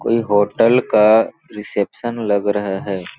कोई होटल का रिसेप्शन लग रहा है।